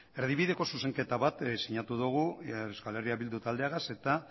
erdibideko zuzenketa bat sinatu dugu euskal herria bildu taldeagaz eta